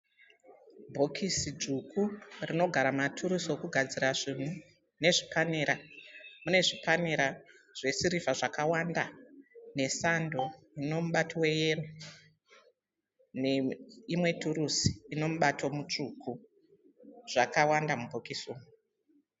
Bhokisi dzvuku rinogara maturusi okugadzira zvinhu nezvipanera. Mune zvipanera zvesirivha zvakawanda nesando inomubato weyero neimwe turusi inomubato mutsvuku. Zvakawanda mubhokisi umu.